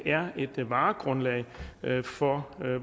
er varegrundlag for